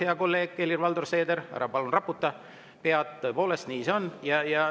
Hea kolleeg Helir-Valdor Seeder, ära palun raputa pead, tõepoolest nii see on.